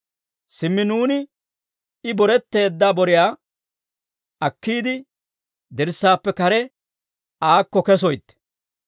Simmi nuuni I boretteedda boriyaa akkiide, dirssaappe kare aakko kesoytte.